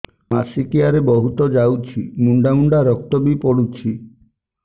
ମାସିକିଆ ରେ ବହୁତ ଯାଉଛି ମୁଣ୍ଡା ମୁଣ୍ଡା ରକ୍ତ ବି ପଡୁଛି